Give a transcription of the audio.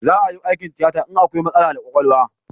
Za a yi aikin tiyata in akwai matsala da kwakwalwa